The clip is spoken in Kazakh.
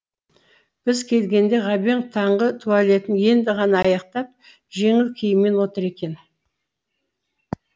біз келгенде ғабең таңғы туалетін енді ғана аяқтап жеңіл киіммен отыр екен